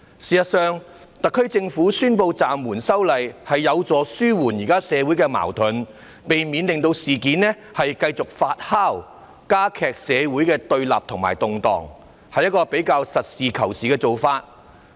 事實上，特區政府宣布暫緩修例，是有助紓緩現時的社會矛盾，避免事件繼續發酵和加劇社會的對立與動盪，是一個比較實事求是的做法。